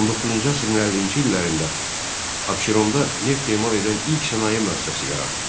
19-cu əsrin 50-ci illərində Abşeronda neft emal edən ilk sənaye müəssisəsi yarandı.